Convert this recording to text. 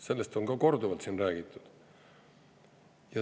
Sellest on korduvalt siin räägitud.